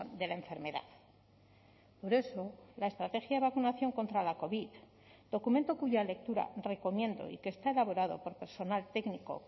de la enfermedad por eso la estrategia de vacunación contra la covid documento cuya lectura recomiendo y que está elaborado por personal técnico